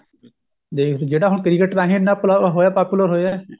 ਦੇਖ ਜਿਹੜਾ ਹੁਣ cricket ਰਾਹੀ ਇੰਨਾ ਹੋਇਆ popular ਹੋਇਆ